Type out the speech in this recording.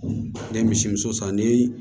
Ne ye misimuso san ni